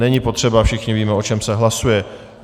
Není potřeba, všichni víme, o čem se hlasuje.